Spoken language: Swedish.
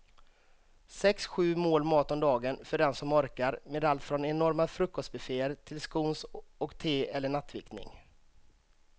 Sex, sju mål mat om dagen för den som orkar med allt från enorma frukostbufféer till scones och te eller nattvickning.